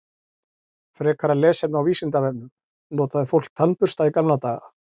Frekara lesefni á Vísindavefnum: Notaði fólk tannbursta í gamla daga?